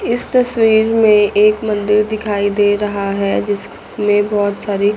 इस तस्वीर में एक मंदिर दिखाई दे रहा है जिसमे बहोत सारी--